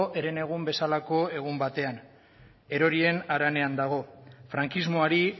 herenegun bezalako egun batean erorien haranean dago frankismoari